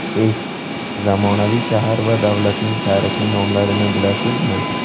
Test: Zamonaviy shahar va davlatlarning tarixiy nomlarini bilasizmi?.